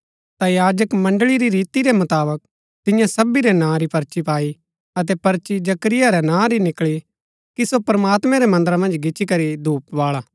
ता याजक मण्ड़ळी री रीति रै मुताबक तिन्यै सभी रै नां री पर्ची पाई अतै पर्ची जकरिया रै नां री निकळी कि सो प्रमात्मां रै मन्दरा मन्ज गिच्ची करी धूप बाळा